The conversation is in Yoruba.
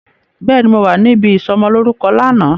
Béèni, mo wà níbí ìsọmọ lórúkọ náà